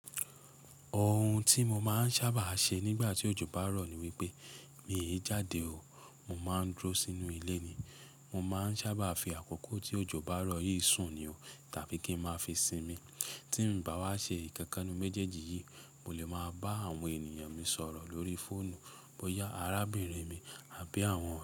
Ohun tí mo máa ń sábà ṣe nígbà tí òjò bá ń rọ̀ ni wípé mi ò lè jáde o, mo máa ń dúró sínú ilé ni. Mo máa ń sábà fi àkókò tí òjò bá ń rọ̀ yìí sùn ni o tàbí kí ń máa fi sinmi. Tí mo bá wá ṣe ìkẹ́kànù méjèèjì yìí, mo lè máa bá àwọn ènìyàn mi sọ̀rọ̀ lórí fóònù, bóyá arábìnrin mi àbí àwọn ọ̀rẹ́ mi.